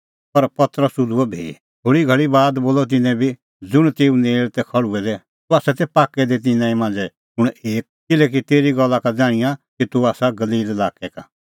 पर पतरस हुधूअ भी थोल़ी घल़ी बाद बोलअ तिन्नैं बी ज़ुंण तेऊ नेल़ तै खल़्हुऐ दै तूह आसा पाक्कै दी तिन्नां ई मांझ़ै कुंण एक किल्हैकि तेरी गल्ला का ज़ाण्हिंआं कि तूह आसा गलील लाक्कै का